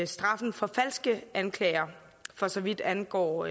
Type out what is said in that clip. straffen for falske anklager for så vidt angår